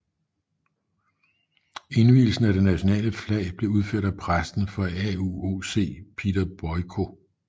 Indvielsen af det nationale flag blev udført af præsten for UAOC Peter Boyko